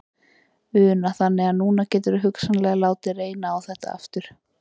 Una: Þannig að núna geturðu hugsanlega látið reyna á þetta aftur?